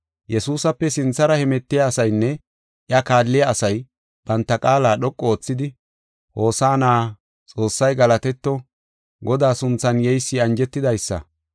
Yesuusape sinthara hemetiya asaynne iya kaalliya asay banta qaala dhoqu oothidi, “Hosaana! Xoossay galatetto! Godaa sunthan yeysi anjetidaysa.